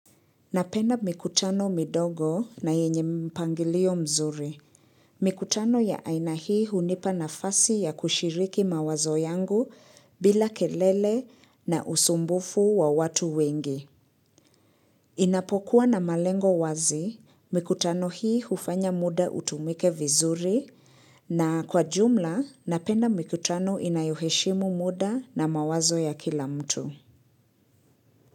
Napenda mikutano midogo na yenye mpangilio mzuri. Mikutano ya aina hii hunipa na fasi ya kushiriki mawazo yangu bila kelele na usumbufu wa watu wengi. Inapokuwa na malengo wazi, mikutano hii ufanya muda utumike vizuri na kwa jumla napenda mikutano inayoheshimu muda na mawazo ya kila mtu.